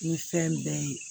Ni fɛn bɛɛ ye